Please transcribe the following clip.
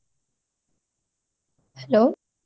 hello